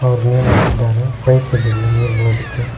Hour name ಹಾಕಿದ್ದಾರೆ pipe ಇಲ್ಲಿದೆ ನೀರ್ ಬೀಳೋದಕ್ಕೆ.